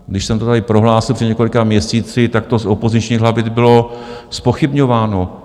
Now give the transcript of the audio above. Když jsem to tady prohlásil před několika měsíci, tak to z opozičních lavic bylo zpochybňováno.